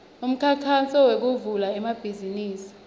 umkhankaso wekuvula emabhizimisi